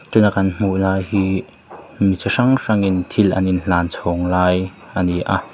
tun a kan hmuh lai hi mi chi hrang hrangin thil an inhlan chhawng lai a ni a.